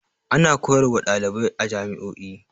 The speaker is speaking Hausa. Ana koyar wa ɗalibai a jami'o'i.